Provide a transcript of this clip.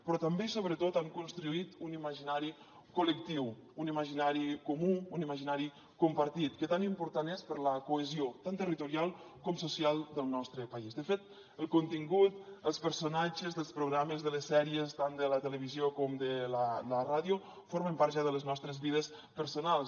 però també i sobretot han construït un imaginari col·lectiu un imaginari comú un imaginari compartit que tan important és per la cohesió tant territorial com social del nostre país de fet el contingut els personatges dels programes de les sèries tant de la televisió com de la ràdio formen part ja de les nostres vides personals